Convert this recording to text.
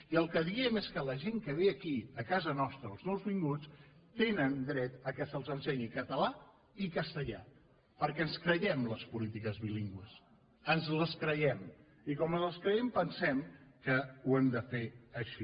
i el que diem és que la gent que ve aquí a casa nostra els nouvinguts tenen dret que se’ls ensenyi català i castellà perquè ens creiem les polítiques bilingües ens les creiem i com que ens les creiem pensem que ho hem de fer així